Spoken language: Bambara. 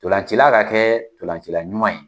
Ntolancila ka kɛ ntolancila ɲuman ye.